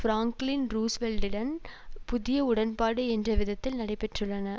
Franklin ரூஸ்வெல்ட்டன் புதிய உடன்பாடு என்ற விதத்தில் நடைபெற்றன